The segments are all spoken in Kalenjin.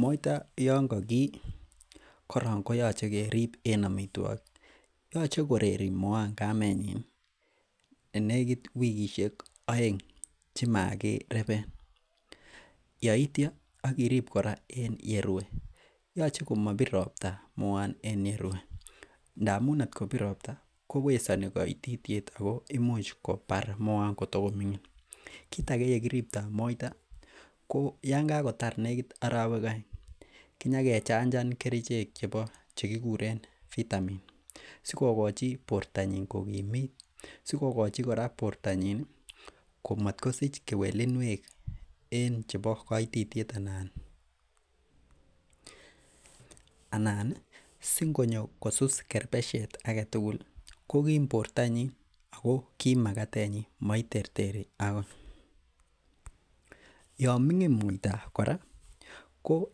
Moita yon kokii korong koyoche kerib en amitwogik, yoche koreri moaan kamenyin nekit wikisiek oeng chemakireben yeitya ak irib kora en yerue yoche komobir ropta moaan en yerue ndamun kot kobir ropta kowesoni koitityet ako imuch kobar moaan kotago ming'in. kit age yekiriptoo moita ko yan kakotar nekit arowek oeng kinyakechanjan kerichek chebo chekikuren vitamin sikokochi bortonyin kokimit, sikokochi kora bortonyin ko matkosich kewelinwek en chebo koitityet ana anan ih singonyo kosus kerbesiat aketugul ih kokim bortonyin ako kim makatenyin moiterteri akoi. Yon ming'in moita kora ko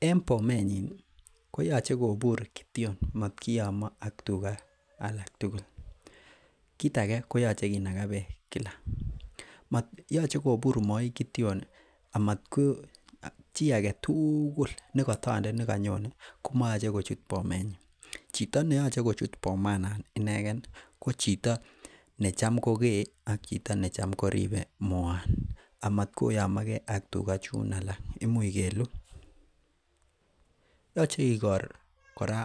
en bomenyin ih koyoche kityon matkiyomo ak tuga alak tugul. Kit age koyoche kinaga beek kila, yoche kobur moi kityon amatko chi aketugul nekotondet nekonyone komoyoche kochut bomenyin, chito neoche kochut bomanon inegen ih ko chito necham kokee ak chito ne tam koribe moaan amatkoyomogee ak tuga chun alak, imuch keluch yoche ikor kora